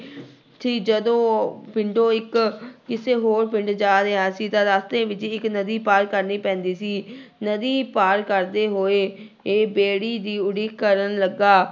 ਸੀ ਜਦੋਂ ਪਿੰਡੋਂ ਇੱਕ ਕਿਸੇ ਹੋਰ ਪਿੰਡ ਜਾ ਰਿਹਾ ਸੀ ਤਾਂ ਰਸਤੇ ਵਿੱਚ ਇੱਕ ਨਦੀ ਪਾਰ ਕਰਨੀ ਪੈਂਦੀ ਸੀ ਨਦੀ ਪਾਰ ਕਰਦੇ ਹੋਏ ਇਹ ਬੇੜੀ ਦੀ ਉਡੀਕ ਕਰਨ ਲੱਗਾ।